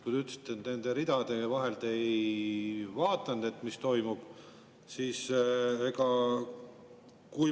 Te ütlesite, et te ei vaadanud, mis nende ridade vahel toimub.